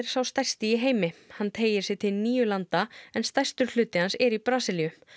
sá stærsti í heimi hann teygir sig til níu landa en stærstur hluti hans er í Brasilíu